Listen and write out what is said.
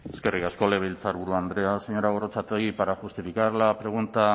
eskerrik asko legebiltzarburu andrea señora gorrotxategi para justificar la pregunta